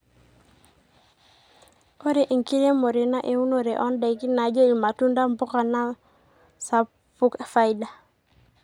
ore enkiremore naa eunore oo ndaiki naajo ilmatunda, mbuka naa sapuk faida